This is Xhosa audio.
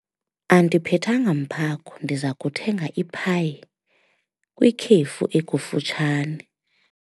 Andiphethanga mphako, ndiza kuthenga iphayi kwikhefu ekufutshane.